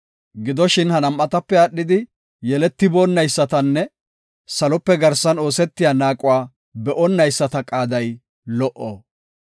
Gidoshin, ha nam7atape aadhidi yeletiboonaysatanne salope garsan oosetiya naaquwa be7onayisata qaaday lo77o.